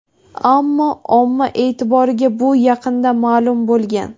Ammo omma e’tiboriga bu yaqinda ma’lum bo‘lgan.